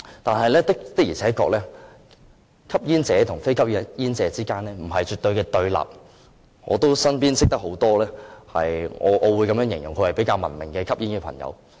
但是，的而且確，吸煙者和非吸煙者之間，不是絕對對立的，我身邊有很多我形容為比較文明的吸煙朋友。